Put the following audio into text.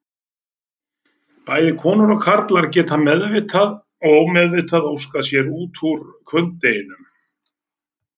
Bæði konur og karlar geta meðvitað og ómeðvitað óskað sér út úr hvunndeginum.